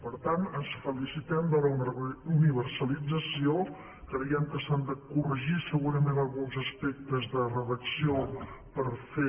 per tant ens felicitem de la universalització creiem que s’han de corregir segurament alguns aspectes de redacció per fer